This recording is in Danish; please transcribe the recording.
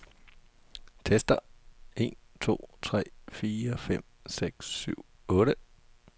Tester en to tre fire fem seks syv otte.